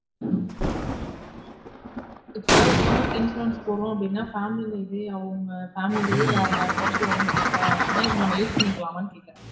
இப்ப ஒருத்தவங்களுக்கு insurance போட்றொம் அப்டினா family இதே அவங்க family லே வேற யாருக்காச்சும் உடம்பு சரியில்ல அப்டினா இத நாம்ம use பண்ணிக்கலாமணு கேக்குறன்